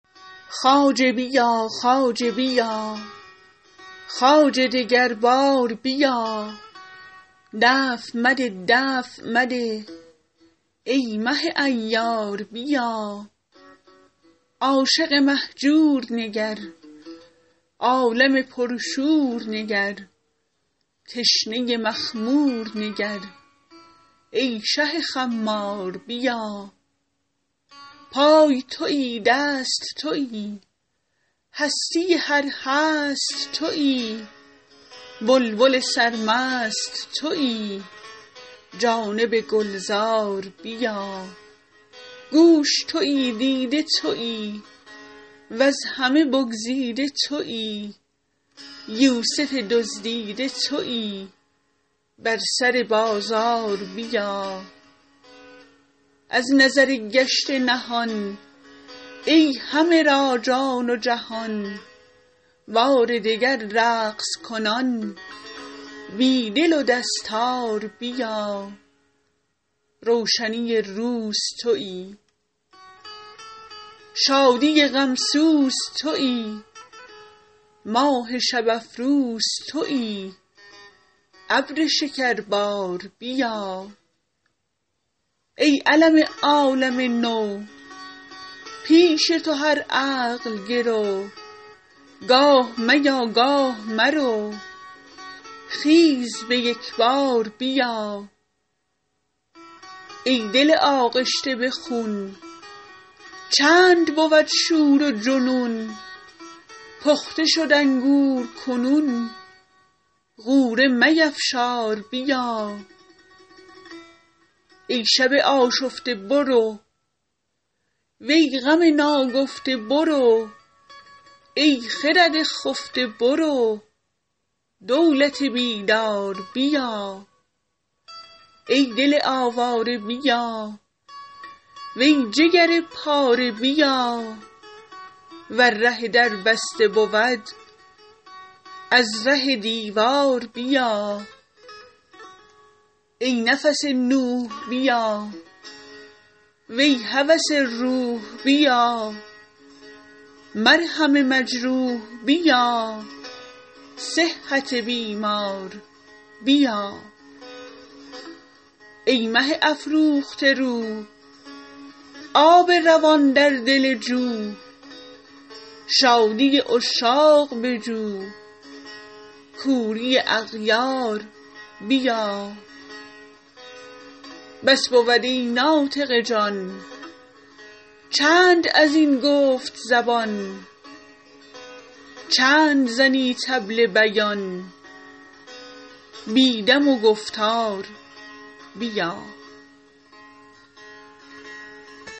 خواجه بیا خواجه بیا خواجه دگر بار بیا دفع مده دفع مده ای مه عیار بیا عاشق مهجور نگر عالم پرشور نگر تشنه مخمور نگر ای شه خمار بیا پای توی دست توی هستی هر هست توی بلبل سرمست توی جانب گلزار بیا گوش توی دیده توی وز همه بگزیده توی یوسف دزدیده توی بر سر بازار بیا ای ز نظر گشته نهان ای همه را جان و جهان بار دگر رقص کنان بی دل و دستار بیا روشنی روز توی شادی غم سوز توی ماه شب افروز توی ابر شکربار بیا ای علم عالم نو پیش تو هر عقل گرو گاه میا گاه مرو خیز به یک بار بیا ای دل آغشته به خون چند بود شور و جنون پخته شد انگور کنون غوره میفشار بیا ای شب آشفته برو وی غم ناگفته برو ای خرد خفته برو دولت بیدار بیا ای دل آواره بیا وی جگر پاره بیا ور ره در بسته بود از ره دیوار بیا ای نفس نوح بیا وی هوس روح بیا مرهم مجروح بیا صحت بیمار بیا ای مه افروخته رو آب روان در دل جو شادی عشاق بجو کوری اغیار بیا بس بود ای ناطق جان چند از این گفت زبان چند زنی طبل بیان بی دم و گفتار بیا